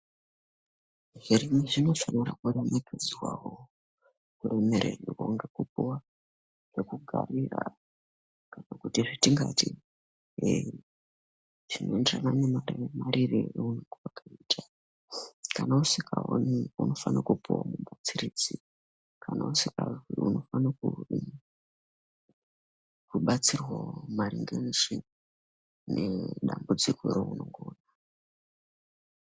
Mitombo dzechivantu dzinoonekwa mushango dzimweni dzinodetsera vantu vasharuka vanodetsera vantu veshe vakawanda.